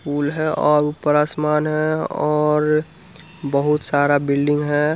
पुल है और ऊपर आसमान है और बहुत सारा बिल्डिंग है।